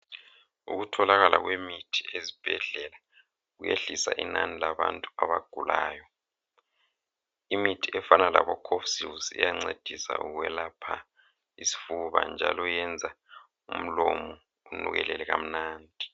Ukutholakala kwemithi ezibhedlela kuyehlisa inani labantu abagulayo. Imithi efana labo"cofsils" iyancedisa ukwelapha isifuba njalo yenza umlomo unukelele kamnandi.